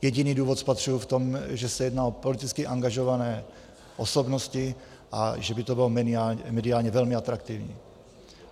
Jediný důvod spatřuji v tom, že se jedná o politicky angažované osobnosti a že by to bylo mediálně velmi atraktivní.